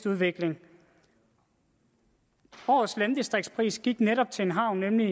udvikling årets landdistriktspris gik netop til en havn nemlig